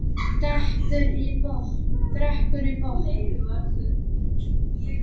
Drekkur í botn.